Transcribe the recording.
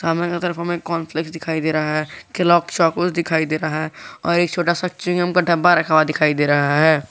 सामने के तरफ हमें कार्न फ्लैस दिखाई दे रहा है केलॉगस चौकोज दिखाई दे रहा है और एक छोटा सा चिंगम का डब्बा रखा हुआ दिखाई दे रहा है।